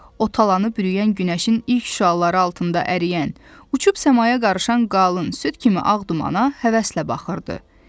O talanı bürüyən günəşin ilk şüaları altında əriyən, uçub səmaya qarışan qalın, süd kimi ağ dumana həvəslə baxırdı.